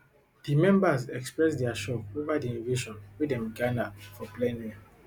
di members express dia shock over di invasion wen dem gada for plenary